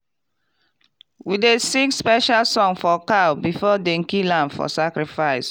we dey sing special song for cow before dem kill am for sacrifice.